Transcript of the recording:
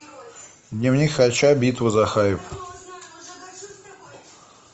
дневник хача битва за хайп